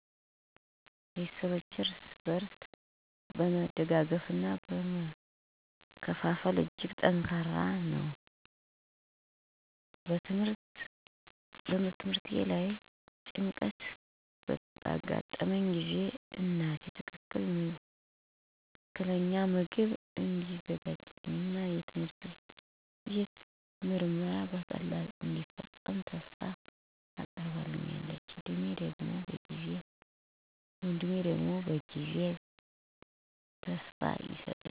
ቤተሰባችን እርስ በርስ በመደጋገፍና በመካፈል እጅግ ጠንካራ ነው። በትምህርቴ ላይ ጭንቀት ተጋጥመኝ ጊዜ እናቴ ትክክለኛ ምግብ እንዲዘጋጅልኝ እና የትምህርቴን ምርመራ በቀላሉ እንዲፈጽም ተስፋ አቀረችልኝ። ወንድሜ ደግሞ በጊዜው ተስፋ አቆምኝ እንዳልዘርጋ ተረዳኝ። ይህ እርስ በርስ የቤተሰብ እርዳታ በህይወት ላይ እንዴት ጠንካራ መሠረት እንደሆነ ግልጽ ምልክት ነው። በቤተሰብ ውስጥ እርስ በርስ መደጋገፍ እንዴት እንደሚረዳን ተረዳን።